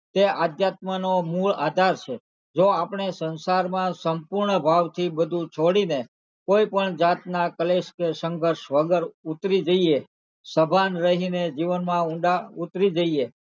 તે આધ્યાત્મનો મૂળ આધાર છે જો આપણે સંસારમાં સંપૂર્ણ ભાવથી બધું છોડીને કોઈ પણ જાતના કલેશ કે સંઘર્ષ વગર ઉતરી જઈએ સભાન રહીને જીવનમાં ઊંડા ઉતારી જઈએ,